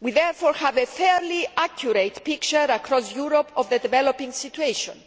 We therefore have a fairly accurate picture across Europe of the developing situation,